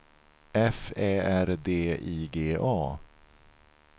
F Ä R D I G A